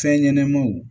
Fɛn ɲɛnɛmaw